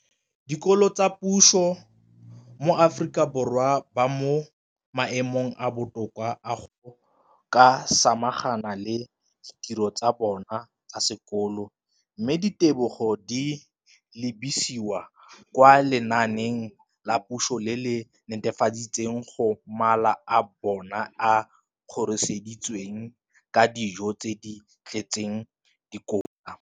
dikolo tsa puso mo Aforika Borwa ba mo maemong a a botoka a go ka samagana le ditiro tsa bona tsa sekolo, mme ditebogo di lebisiwa kwa lenaaneng la puso le le netefatsang gore mala a bona a kgorisitswe ka dijo tse di tletseng dikotla.